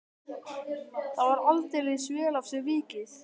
Það var aldeilis vel af sér vikið.